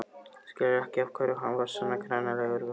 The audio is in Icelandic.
Skilur ekki af hverju hann var svona hranalegur við hana.